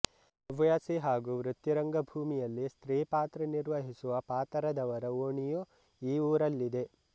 ಹವ್ಯಾಸಿ ಹಾಗೂ ವೃತ್ತಿ ರಂಗ ಭೂಮಿಯಲ್ಲಿ ಸ್ತ್ರೀ ಪತ್ರ ನಿರ್ವಹಿಸುವ ಪಾತರದವರ ಓಣಿಯು ಈ ಊರಲ್ಲಿದೆ